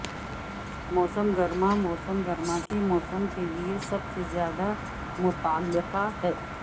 موسم گرما موسم گرما کے موسم کے لئے سب سے زیادہ متعلقہ ہے